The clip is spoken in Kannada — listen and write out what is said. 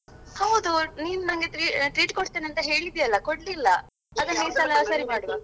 ಹೌದು ನೀನ್ ನಂಗೆ tre~ treat ಕೊಡ್ತೇನಂತ ಹೇಳಿದ್ಯಲ್ವಾ ಕೊಡ್ಲಿಲ್ಲಾ ಅದೇ ಈಸಲ ಸರಿಮಾಡ್ವಾ.